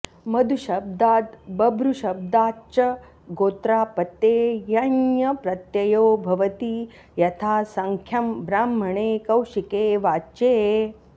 मधुशब्दाद् बभ्रुशब्दाच् च गोत्रापत्ये यञ् प्रत्ययो भवति यथासङ्ख्यम् ब्राह्मणे कौशिके वाच्ये